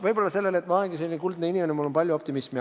Võib-olla ma olengi selline kuldne inimene, mul on palju optimismi.